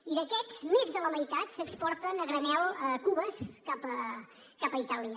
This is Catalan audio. i d’aquests més de la meitat s’exporten a granel amb cubes cap a itàlia